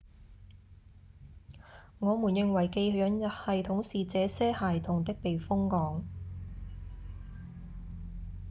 我們認為寄養系統是這些孩童的避風港